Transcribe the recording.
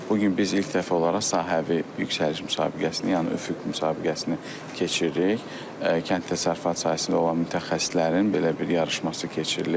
Bu gün biz ilk dəfə olaraq sahəvi yüksəliş müsabiqəsini, yəni üfüq müsabiqəsini keçiririk, Kənd Təsərrüfatı sahəsində olan mütəxəssislərin belə bir yarışması keçirilir.